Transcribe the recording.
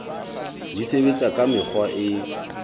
di sebetsa ka mekgwa e